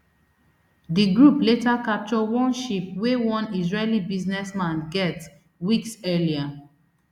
di group later capture one ship wey one israeli businessman get weeks earlier